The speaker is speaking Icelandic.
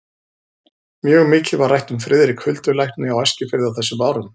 Mjög mikið var rætt um Friðrik huldulækni á Eskifirði á þessum árum.